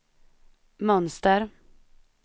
mönster